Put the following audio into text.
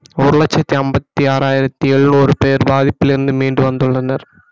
ஒரு லட்சத்தி ஐம்பத்தி ஆறாயிரத்தி எழுநூறு பேர் பாதிப்பிலிருந்து மீண்டு வந்துள்ளனர்